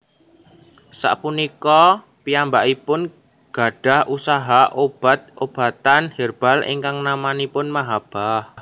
Sapunika piyambakipun gadhah usaha obat obatan herbal ingkang namanipun Mahabbah